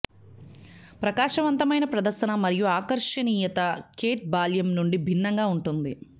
ప్రకాశవంతమైన ప్రదర్శన మరియు ఆకర్షణీయత కేట్ బాల్యం నుండి భిన్నంగా ఉంటుంది